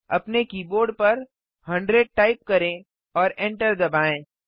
अपने कीबोर्ड पर 100 टाइप करें और एंटर दबाएँ